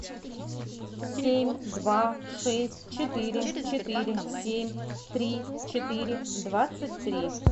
семь два шесть четыре четыре семь три четыре двадцать три